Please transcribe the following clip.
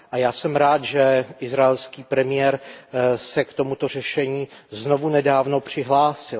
A já jsem rád, že izraelský premiér se k tomuto řešení znovu nedávno přihlásil.